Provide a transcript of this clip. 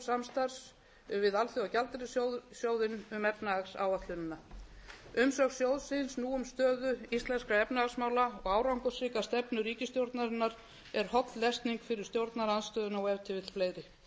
samstarfs við alþjóðagjaldeyrissjóðinn um efnahagsáætlunina umsögn sjóðsins nú um stöðu íslenskra efnahagsmála og árangursríka stefnu ríkisstjórnarinnar er holl lesning fyrir stjórnarandstöðuna og ef til vill fleiri